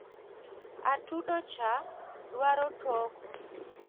Atudo cha dwaro toko.